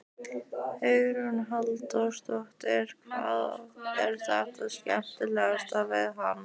Hugrún Halldórsdóttir: Hvað er það skemmtilegasta við hann?